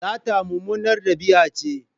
Sata mummunar dabi'a ce.